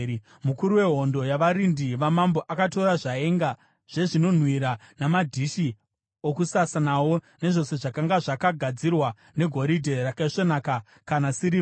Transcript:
Mukuru wehondo yavarindi vamambo akatora zvaenga zvezvinonhuhwira namadhishi okusasa nawo, nezvose zvakanga zvakagadzirwa negoridhe rakaisvonaka kana sirivha.